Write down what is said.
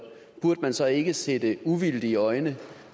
burde man så ikke sætte uvildige øjne